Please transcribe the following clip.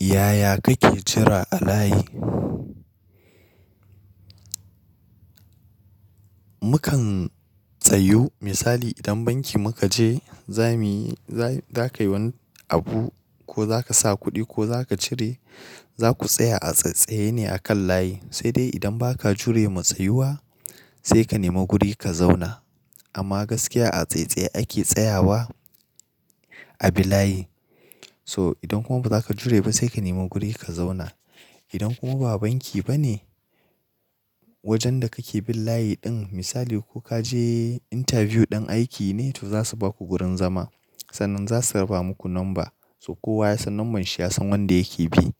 Yaya kake jira a layi? Mukan tsayu misali idan banki muka je za muyi, za ka yi wani abu ko za ka sa kuɗi ko za ka cire za ku tsaya a tsattsaye ne a kan layi. Sai dai idan ba ka jure ma tsayuwa sai ka nema guri ka zauna. Amma gaskiya a tsaitsaye ake tsayawa a bilayi. So idan kuma ba za ka jure ba sai ka nema guri ka zauna. Idan kuma ba banki bane wajen da kake bin layi ɗin misali ko ka je interview ɗin aiki ne to za su baku gurin zama. Sannan za su raba muku number so kowa ya san nomban shi ya san wanda yake bi.